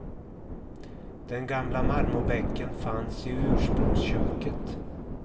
Den gamla marmorbänken fanns i ursprungsköket.